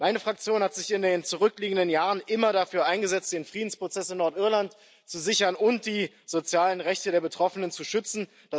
Meine Fraktion hat sich in den zurückliegenden Jahren immer dafür eingesetzt, den Friedensprozess in Nordirland zu sichern und die sozialen Rechte der Betroffenen zu schützen.